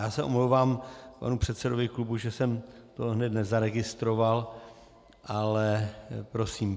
Já se omlouvám panu předsedovi klubu, že jsem to hned nezaregistroval, ale prosím.